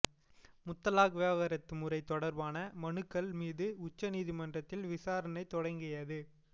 முத்தலாக் விவாகரத்து முறை தொடர்பான மனுக்கள் மீது உச்ச நீதிமன்றத்தில் விசாரணை தொடங்கியது